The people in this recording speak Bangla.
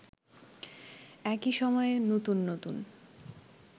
একই সময়ে নতুন নতুন